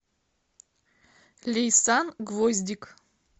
лейсан гвоздик